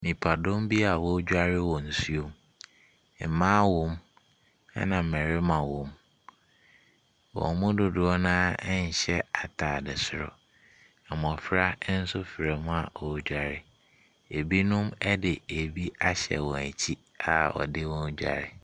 Nipadɔm bi a wɔredware wɔ nsuo bi mu, maa wwɔ mu, ɛna mmarima wɔ mu. Wɔn mu dodoɔ no ara nhyɛ atadeɛ soro. Mmɔfra nso fra mu a wɔredware. Ɛbinom de ɛbi ahyɛ wɔn akyi a wɔde wɔn redware.